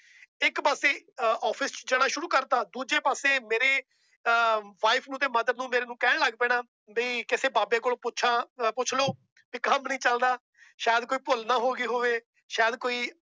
ਇੱਕ ਪਾਸੇ ਅਹ office ਚ ਜਾਣਾ ਸ਼ੁਰੂ ਕਰ ਦਿੱਤਾ ਦੂਜੇ ਪਾਸੇ ਮੇਰੇ ਅਹ wife ਨੂੰ ਤੇ mother ਨੂੰ ਮੇਰੇ ਨੂੰ ਕਹਿਣ ਲੱਗ ਪੈਣਾ ਵੀ ਕਿਸੇ ਬਾਬੇ ਕੋਲੋਂ ਪੁੱਛਾਂ ਪੁੱਛ ਲਓ ਵੀ ਕੰਮ ਨੀ ਚੱਲਦਾ, ਸ਼ਾਇਦ ਕੋਈ ਭੁੱਲ ਨਾ ਹੋ ਗਈ ਹੋਵੇ ਸ਼ਾਇਦ ਕੋਈ